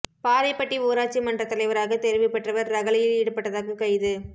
பாறைப்பட்டி ஊராட்சி மன்றத் தலைவராக தோ்வு பெற்றவா் ரகளையில் ஈடுபட்டதாக கைது